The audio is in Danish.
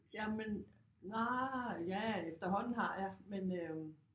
Jamen nej ja efterhånden har jeg